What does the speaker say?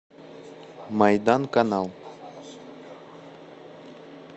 майдан канал